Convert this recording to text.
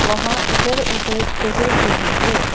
वहां इधर उधर टहेल रहे हैं।